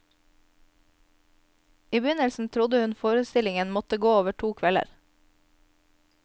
I begynnelsen trodde hun forstillingen måtte gå over to kvelder.